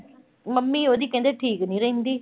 Mummy ਉਹਦੀ ਕਹਿੰਦੇ ਠੀਕ ਨੀਂ ਰਹਿੰਦੀ।